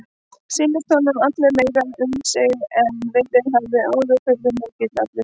Sýndist honum hann allur meiri um sig en verið hafði áður og furðumikill allur.